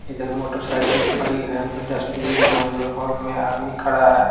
इधर motorcycle खड़ी है उधर डस्टबिन है उधर हॉल में आदमी खड़ा है।